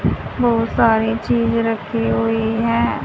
बहुत सारी चीज रखी हुई हैं।